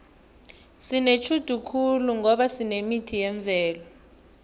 sinetjhudu khulu ngoba sinemithi yemvelo